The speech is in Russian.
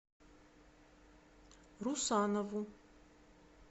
русанову